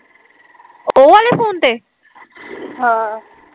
ਹਾਂ